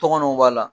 Tɔgɔw b'a la